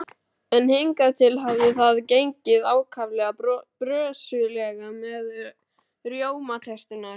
En hingað til hafði það gengið ákaflega brösulega með rjómaterturnar.